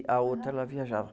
E a outra, ela viajava.